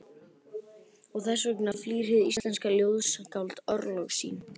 Og þess vegna flýr hið íslenska ljóðskáld örlög sín.